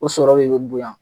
O sɔrɔ de be bonya.